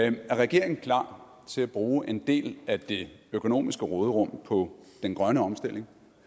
er regeringen klar til at bruge en del af det økonomiske råderum på den grønne omstilling